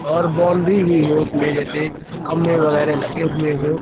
और बाउंड्री भीं उसमें जैसे खंभे वगैरा लगे हुए हो।